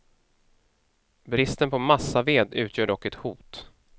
Bristen på massaved utgör dock ett hot.